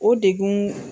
O degun